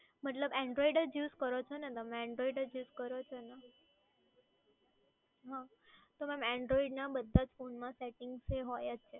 મતલબ android જ use કરો છો ને તમે? તો ma'm android ના બધા જ phone માં settings એ હોય જ છે.